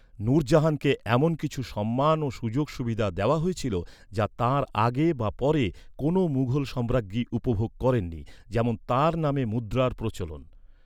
নূরজাহানকে এমন কিছু সম্মান ও সুযোগ সুবিধা দেওয়া হয়েছিল যা তাঁর আগে বা পরে কোনো মুঘল সম্রাজ্ঞী উপভোগ করেননি, যেমন তাঁর নামে মুদ্রার প্রচলন।